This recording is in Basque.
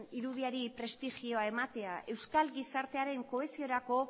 irudiari prestigioa ematea euskal gizartearen kohesiorako